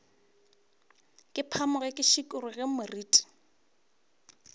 ke phamoge ke šikologe moriti